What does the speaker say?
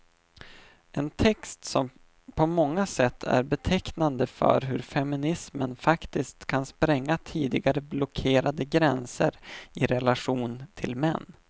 En text som på många sätt är betecknande för hur feminismen faktiskt kan spränga tidigare blockerade gränser i relation till män.